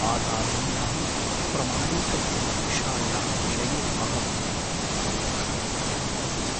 आगामिन्याः प्रमाणीकृतपरीक्षायाः विषये अहम् आतङ्कमनुभवन् अस्मि ।